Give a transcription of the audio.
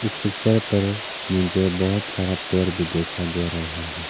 इस पिक्चर पर मुझे बहुत सारा पेड़ भी दिखाई दे रहे हैं।